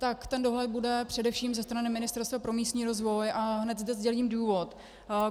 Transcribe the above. Tak ten dohled bude především ze strany Ministerstva pro místní rozvoj a hned zde sdělím důvod.